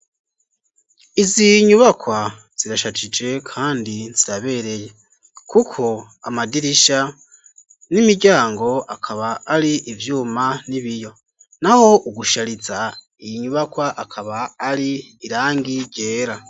Izi nyubakwa zirashajije, kandi nzirabereye, kuko amadirisha n'imiryango akaba ari ivyuma n'ibiyo na ho ugushariza iyi nyubakwa akaba ari irangi ryera.